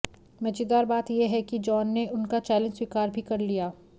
मजेदार बात यह है कि जॉन ने उनका चैलेंज स्वीकार भी कर लिया